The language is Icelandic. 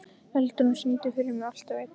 Eldrún, syngdu fyrir mig „Alltaf einn“.